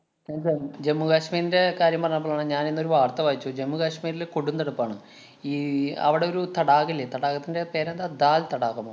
ജമ്മു-കാശ്മീരിന്‍റെ കാര്യം പറഞ്ഞപ്പോഴാണ് ഞാനിന്നൊരു വാര്‍ത്ത വായിച്ചു. ജമ്മു-കാശ്മീരില് കൊടും തണുപ്പാണ്. ഈ അവിടെ ഒരു തടാകം ഇല്ലേ. തടാകത്തിന്‍റെ പേരെന്താ ദാല്‍ തടാകമോ?